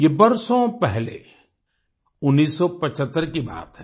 ये बरसों पहले उन्नीस सौ पिचहत्तर की बात है